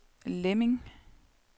Lemming